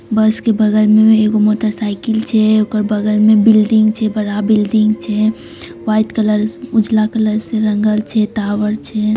बस के बगल में एगो मोटर साइकिल छै ओकर बगल में बिल्डिंग छै बड़ा बिल्डिंग छै व्हाइट कलर उजला कलर से रंगल छै टावर छै।